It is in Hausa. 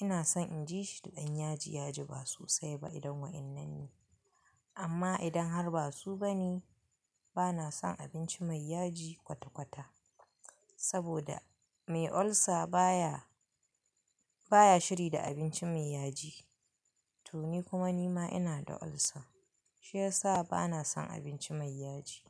Ina son in ji shi da ɗan yaji yaji ba so sai ba idan waƴannan ne. Amma idan har ba su ba ne, bana son abinci mai yaji kwata-kwata. Saboda mai ulcer baya, baya shiri da abinci mai yaji. To ni kuma nima ina da ulcer. Shi yasa bana son abinci mai yaji.